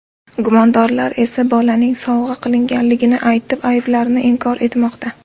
Gumondorlar esa, bolaning sovg‘a qilinganligini aytib, ayblarini inkor etmoqda.